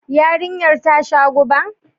Yarinyar ta sha guba?